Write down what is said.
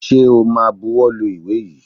Ṣẹ o ma buwọ́ lu ìwé yìí?